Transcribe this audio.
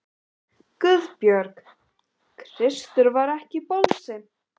GUÐBJÖRG: Kristur var ekki bolsi!